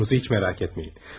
Oğlunuzu hiç merak etmeyin.